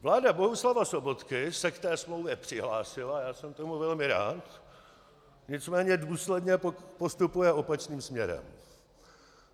Vláda Bohuslava Sobotky se k té smlouvě přihlásila, já jsem tomu velmi rád, nicméně důsledně postupuje opačným směrem.